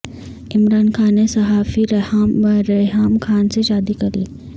عمران خان نے صحافی ریحام خان سے شادی کر لی ہے